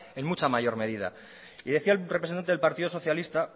en mucha mayor medida y decía un representante del partido socialista